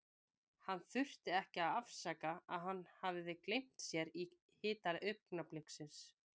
Hann þurfti ekki að afsaka að hann hafði gleymt sér í hita augnabliksins.